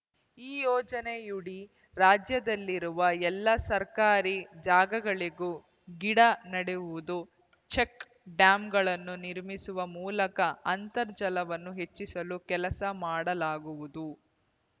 ಈ ಯೋಜನೆಯುಡಿ ರಾಜ್ಯದಲ್ಲಿರುವ ಎಲ್ಲಾ ಸರ್ಕಾರಿ ಜಾಗಗಳಲ್ಲೂ ಗಿಡ ನೆಡುವುದು ಚೆಕ್‌ ಡ್ಯಾಂಗಳನ್ನು ನಿರ್ಮಿಸುವ ಮೂಲಕ ಅಂತರ್ಜಲವನ್ನು ಹೆಚ್ಚಿಸುವ ಕೆಲಸ ಮಾಡಲಾಗುವುದು